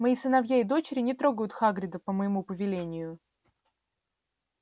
мои сыновья и дочери не трогают хагрида по моему повелению